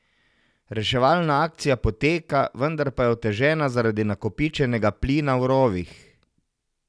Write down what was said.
Reševalna akcija poteka, vendar pa je otežena zaradi nakopičenega plina v rovih.